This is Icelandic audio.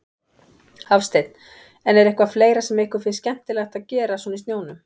Hafsteinn: En er eitthvað fleira sem ykkur finnst skemmtilegt að gera svona í snjónum?